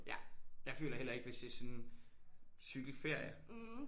Ja jeg føler heller ikke hvis det er sådan cykelferie